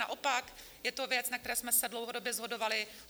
Naopak je to věc, na které jsme se dlouhodobě shodovali.